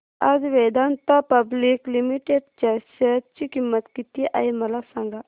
आज Vedanta public limited च्या share ची किंमत किती आहे मला सांगा